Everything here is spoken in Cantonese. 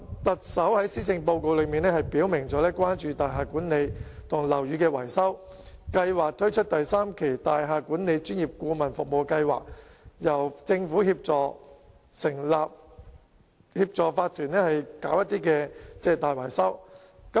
特首在施政報告表明關注大廈管理及樓宇的維修，提出會推出第三期大廈管理專業顧問服務計劃，由政府協助法團進行大維修。